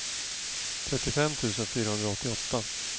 trettiofem tusen fyrahundraåttioåtta